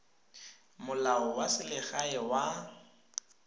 molao wa tsa selegae wa